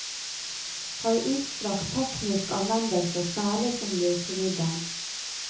Har utstrakt teknisk anvendelse, særlig som løsemiddel.